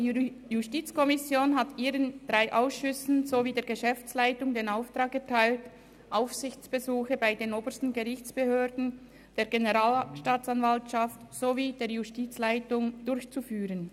Die JuKo hat ihren drei Ausschüssen sowie der Geschäftsleitung den Auftrag erteilt, Aufsichtsbesuche bei den obersten Gerichtsbehörden, der Generalstaatsanwaltschaft sowie der Justizleitung durchzuführen.